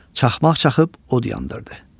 Çaxmaq çaxıb od yandırdı.